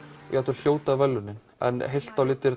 jafnvel hljóta verðlaunin en heilt á litið er